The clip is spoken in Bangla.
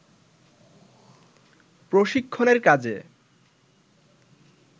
প্রশিক্ষণের কাজে